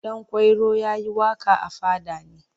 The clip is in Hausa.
Ɗanƙwairo ya yi waƙa a fada ne.